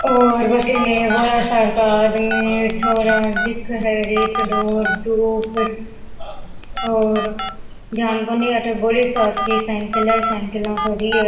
और भटीने बड़ा सार का आदमी छोरा दिखे है रेतड़ो दुब और ध्यान कोनी अठे बड़ी सार की साइकिल है साइकिला खडी है।